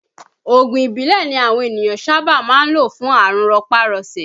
Oògùn ìbílẹ̀ ni àwọn ènìyàn sábà máa ń lò fún àrùn rọpá-rọṣẹ̀